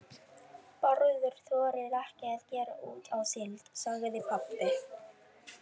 Bárður þorir ekki að gera út á síld, sagði pabbi.